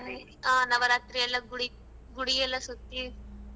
ಹಾ ನವರಾತ್ರಿ ಎಲ್ಲಾ ಗುಡಿ ಗುಡಿಯೆಲ್ಲಾ ಸುತ್ತಿ.